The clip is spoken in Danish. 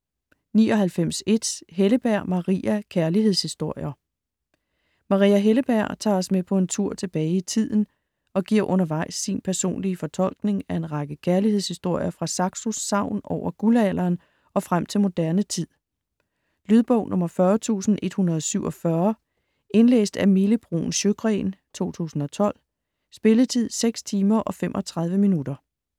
99.1 Helleberg, Maria: Kærlighedshistorier Maria Helleberg tager os med på en tur tilbage i tiden og giver undervejs sin personlige fortolkning af en række kærlighedshistorier fra Saxos sagn over guldalderen og frem til moderne tid. Lydbog 40147 Indlæst af Mille Bruun Sjøgren, 2012. Spilletid: 6 timer, 35 minutter.